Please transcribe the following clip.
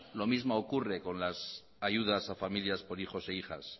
lo mismo ocurre con las ayudas a familias por hijos e hijas